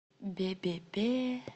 бе бе бе